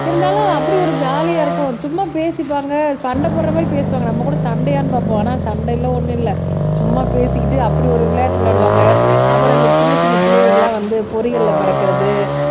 இருந்தாலும் அப்படி ஒரு ஜாலியா இருக்கும் சும்மா பேசிப்பாங்க சண்டை போடுற மாரி பேசுவாங்க நம்ம கூட சண்டையான்னு பாப்போம் ஆனா சண்டையில ஒண்ணும் இல்ல சும்மா பேசிக்கிட்டு அப்படி ஒரு விளையாட்டு விளையாடுவாங்க அப்புறம் இந்த சின்ன சின்ன பிள்ளைகளுக்கு எல்லாம் வந்து பொரி கல்ல பறக்கிறது